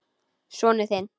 Sonur þinn.